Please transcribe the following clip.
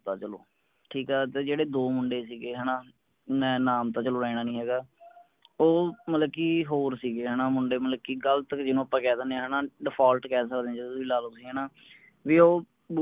ਚਲੋ ਠੀਕ ਆ ਤੇ ਦੋ ਮੁੰਡੇ ਸੀਗੇ ਹੈਨਾ ਮੈਂ ਨਾਮ ਤਾ ਚਲੋ ਲੈਣਾ ਨੀ ਹੈਗਾ ਉਹ ਮਤਲਬ ਕਿ ਹੋਰ ਸੀਗੇ ਹੈਨਾ ਮੁੰਡੇ ਮਤਲਬ ਕਿ ਗਲਤ ਜਿਨੂੰ ਆਪਾ ਕਿਹਦਿਨੇ ਆ ਹੈਨਾ default ਕਹਿ ਸਕਦੇ ਆ ਜਿਵੇ ਵੀ ਲਾਲੋ ਤੁਸੀ ਬੀ ਓਹ